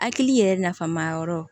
Hakili yɛrɛ nafan ma yɔrɔ